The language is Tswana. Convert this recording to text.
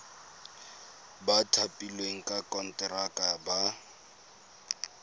ba thapilweng ka konteraka ba